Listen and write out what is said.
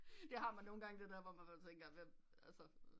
Det har man nogen gange det der hvor man tænker hvem altså